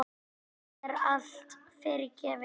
Í dag er allt fyrirgefið.